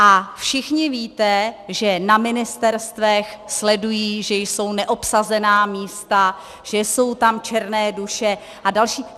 A všichni víte, že na ministerstvech sledují, že jsou neobsazená místa, že jsou tam černé duše a další.